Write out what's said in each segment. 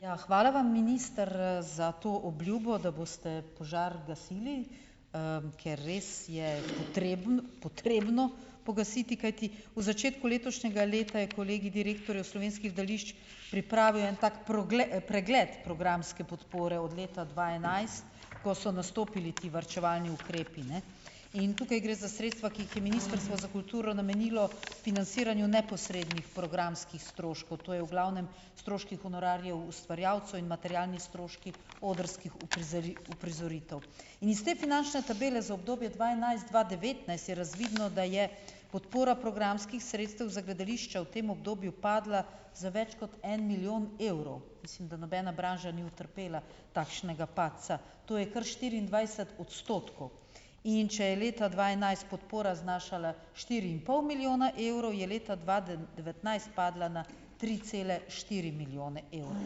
Ja, hvala vam minister, za to obljubo, da boste požar gasili, ker res je potreben potrebno pogasiti, kajti v začetku letošnjega leta je kolegij direktorjev slovenskih pripravil en tak pregled programske podpore od leta dva enajst, ko so nastopili ti varčevalni ukrepi, ne, in tukaj gre za sredstva, ki jih je Ministrstvo za kulturo namenilo financiranju neposrednih programskih stroškov. To je v glavnem stroški honorarjev, ustvarjalcev in materialni stroški odrskih uprizoritev. In iz te finančne tabele za obdobje dva enajst-dva devetnajst je razvidno, da je podpora programskih sredstev za gledališča v tem obdobju padla za več kot en milijon evrov. Mislim, da nobena branža ni utrpela takšnega padca. To je kar štiriindvajset odstotkov. In če je leta dva enajst podpora znašala štiri in pol milijona evrov, je leta dva devetnajst padla na tri cele štiri milijone evrov.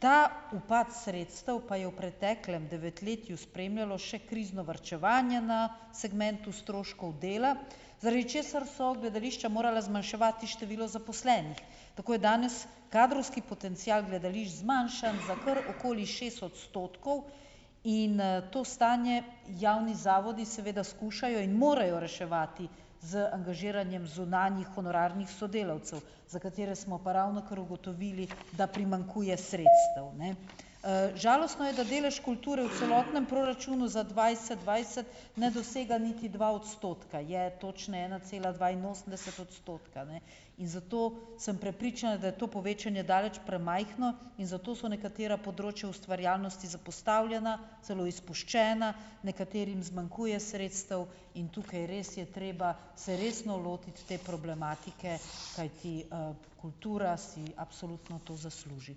Ta upad sredstev pa je v preteklem devetletju spremljalo še krizno varčevanje na segmentu stroškov dela, zaradi česar so gledališča morala zmanjševati število zaposlenih. Tako je danes kadrovski potencial gledališč zmanjšan za kar okoli šest odstotkov in, to stanje javni zavodi seveda skušajo in morajo reševati z angažiranjem zunanjih honorarnih sodelavcev, za katere smo pa ravnokar ugotovili, da primanjkuje sredstev, ne . Žalostno je, da delež kulture v celotnem proračunu za dvajset dvajset, ne dosega niti dva odstotka, je točno ena cela dvainosemdeset odstotka, ne, in zato sem prepričana, da je to povečanje daleč premajhno, in zato so nekatera področja ustvarjalnosti zapostavljena, celo izpuščena, nekaterim zmanjkuje sredstev in tukaj res je treba se resno lotiti te problematike, kajti, kultura si absolutno to zasluži.